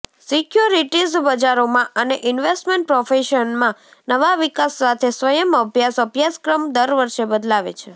securities બજારોમાં અને investment પ્રોફેશનમાં નવા વિકાસ સાથે સ્વયં અભ્યાસ અભ્યાસક્રમ દર વર્ષે બદલાવે છે